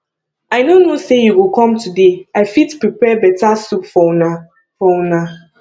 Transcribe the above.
i no know say you go com today i fit prepare beta soup for una for una